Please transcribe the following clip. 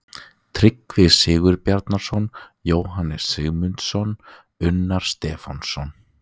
Tryggvi Sigurbjarnarson, Jóhannes Sigmundsson, Unnar Stefánsson